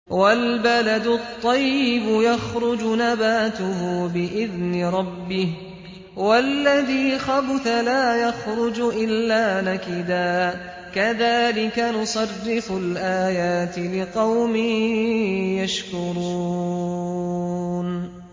وَالْبَلَدُ الطَّيِّبُ يَخْرُجُ نَبَاتُهُ بِإِذْنِ رَبِّهِ ۖ وَالَّذِي خَبُثَ لَا يَخْرُجُ إِلَّا نَكِدًا ۚ كَذَٰلِكَ نُصَرِّفُ الْآيَاتِ لِقَوْمٍ يَشْكُرُونَ